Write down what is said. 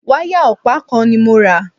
Wáyà ọ̀pá kan ni mo rà.